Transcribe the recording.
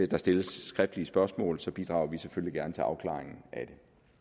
der stilles skriftlige spørgsmål og så bidrager vi selvfølgelig gerne til afklaringen af